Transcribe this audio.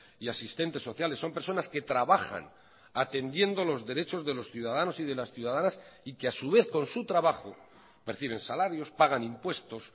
y asistentes sociales son personas que trabajan atendiendo los derechos de los ciudadanos y de las ciudadanas y que a su vez con su trabajo perciben salarios pagan impuestos